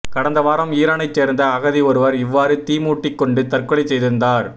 கடந்த வாரம் ஈரானைச் சேர்ந்த அகதி ஒருவர் இவ்வாறு தீ மூட்டிக் கொண்டு தற்கொலை செய்திருந்தார்